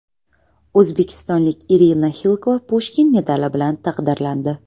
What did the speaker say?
O‘zbekistonlik Irina Xilkova Pushkin medali bilan taqdirlandi.